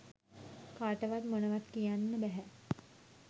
කාටවත් මොනවත් කියන්න බැහැ.